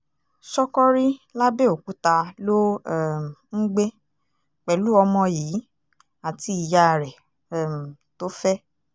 ṣọ́kọ́rí làbẹ́òkúta ló um ń gbé pẹ̀lú ọmọ yìí àti ìyá rẹ̀ um tó fẹ́